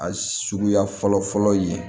A suguya fɔlɔ fɔlɔ ye